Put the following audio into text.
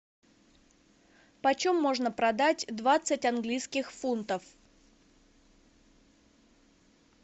почем можно продать двадцать английских фунтов